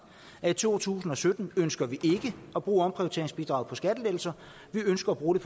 at vi i to tusind og sytten ønsker at bruge omprioriteringsbidraget til skattelettelser vi ønsker at bruge det